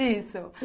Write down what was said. Isso.